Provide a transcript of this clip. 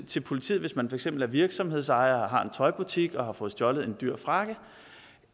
til politiet hvis man for eksempel er virksomhedsejer og har en tøjbutik og har fået stjålet en dyr frakke